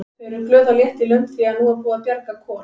Þau eru glöð og létt í lund því að nú er búið að bjarga Kol.